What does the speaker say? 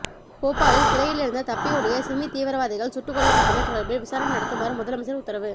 போபாலில் சிறையிலிருந்து தப்பியோடிய சிமி தீவிரவாதிகள் சுட்டுக் கொல்லப்பட்டமை தொடர்பில் விசாரணை நடத்துமாறு முதலமைச்சர் உத்தரவு